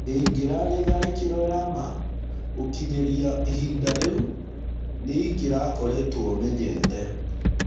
ĩngĩrarĩ- tharĩkĩro ya ma, gũkinyĩria ihinda rĩu nĩingĩrakoretwo omenyete.